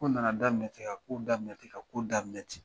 Kow nana daminɛ ten ka kow daminɛ ten ka kow daminɛ ten.